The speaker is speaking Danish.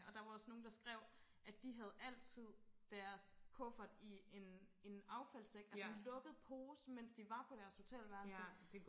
Og der var også nogen der skrev at de havde altid deres kuffert i en en affaldssæk altså en lukket pose mens de var på deres hotelværelse